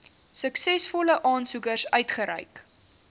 suksesvolle aansoekers uitgereik